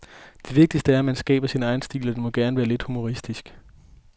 Det vigtigste er, at man skaber sin egen stil, og den må gerne være lidt humoristisk.